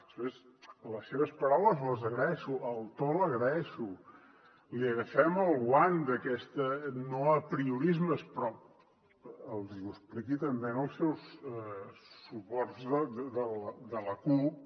de fet les seves paraules les agraeixo el to l’agraeixo li agafem el guant d’aquests no apriorismes però que els ho expliqui també als seus suports de la cup